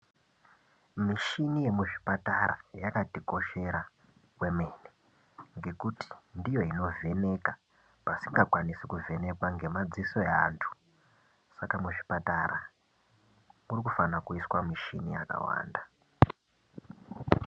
Mishini yemuzvipatara yakatikoshera kwemene ngekuti ndiyo inovheneka pasingakwanisi kuvhenekwa ngamadziso eantu. Saka muzvipatara muri kufana kuiswa mishini yakawanda .